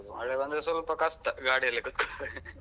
ಮಳೆ ಬಂದ್ರೆ ಸ್ವಲ್ಪ ಕಷ್ಟ ಗಾಡಿಯಲ್ಲಿ ಕೂತ್ಕೊಂಡು.